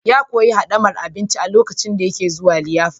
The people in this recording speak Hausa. Ya koyi hadamar abinci lokacin da yake zuwa liyafa.